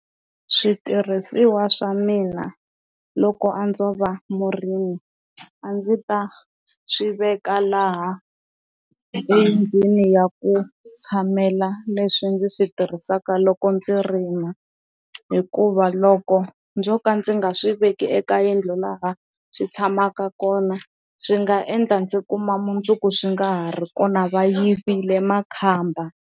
Switirhisiwa swa mina loko a ndzo va murimi a ndzi ta swiveka laha endzeni ya ku tshamela leswi ndzi swi tirhisaka ka loko ndzi rima hikuva loko ndzo ka ndzi nga swiveki eka yindlu laha swi tshamaka kona swi nga endla ndzi kuma mundzuku swi nga ha ri kona va yivile makhamba.